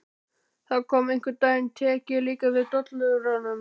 Það kom: Einhvern daginn tek ég líka við dollurunum.